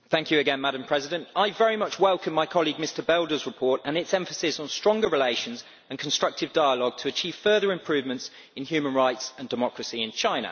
Madam President, I very much welcome my colleague Mr Belder's report and its emphasis on stronger relations and constructive dialogue to achieve further improvements in human rights and democracy in China.